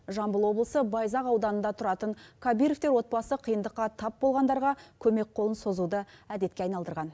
жамбыл облысы байзақ ауданында тұратын кабировтер отбасы қиындыққа тап болғандарға көмек қолын созуды әдетке айналдырған